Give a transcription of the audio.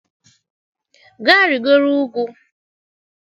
Gaa rịgoro ugwu